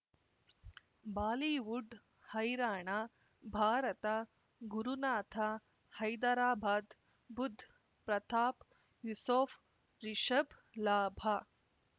Bollywood ಹೈರಾಣ ಭಾರತ ಗುರುನಾಥ ಹೈದರಾಬಾದ್ ಬುಧ್ ಪ್ರತಾಪ್ ಯೂಸೋಫ್ ರಿಷಬ್ ಲಾಭ